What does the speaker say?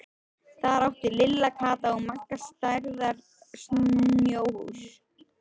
Þar áttu Lilla, Kata og Magga stærðar snjóhús.